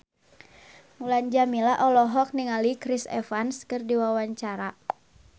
Mulan Jameela olohok ningali Chris Evans keur diwawancara